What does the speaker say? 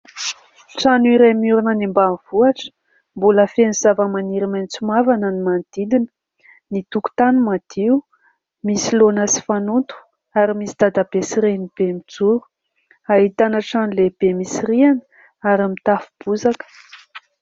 Trano iray miorina any ambanivohitra, mbola feno zavamaniry maitso mavana ny manodidina. Ny tokotany madio, misy laona sy fanoto ary misy dadabe sy renibe mijoro. Ahitana trano lehibe misy rihana ary mitafo bozaka.